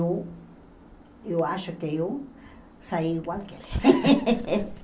eu, eu acho que eu saí igual que ele.